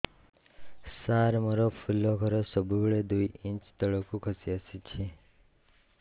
ସାର ମୋର ଫୁଲ ଘର ସବୁ ବେଳେ ଦୁଇ ଇଞ୍ଚ ତଳକୁ ଖସି ଆସିଛି